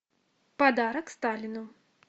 подарок сталину